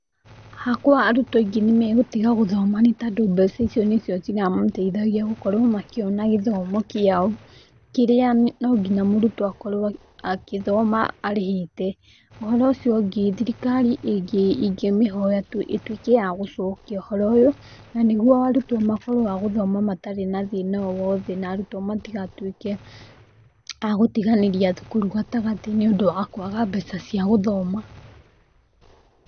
Hakwa arutwo aingĩ nĩmagũtiga gũthoma nĩtondũ mbeca icio nĩcio ciramateithagia gũkorwo makĩona gĩthomo kĩao kĩrĩa mũrutwo nonginya mũrutwo akĩthoma arĩhĩte. ũhoro ũcio ũngĩ, thirikari ingĩmĩhoya ĩtuĩke ya gũcokia ũhoro ũyũ nanĩguo arutwo makorwo agothoma matarĩ na thĩna o wothe na arutwo matigatuĩke agũtiganĩria thukuru gatagatĩ nĩũndũ wa kwaga mbeca cia gũthoma.